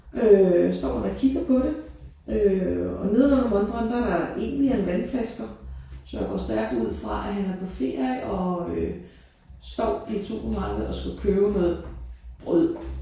Øh står han og kigger på det øh og nedenunder montren der er Evian vandflasker så jeg går stærkt ud fra at han er på ferie og øh står i et supermarked og skal købe noget brød